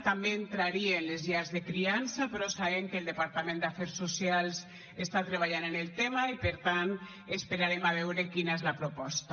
també entrarien les llars de criança però sabem que el departament d’afers socials està treballant en el tema i per tant esperarem a veure quina és la proposta